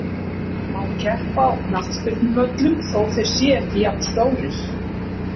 Má keppa á knattspyrnuvöllum þó þeir séu ekki jafnstórir?